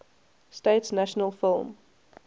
states national film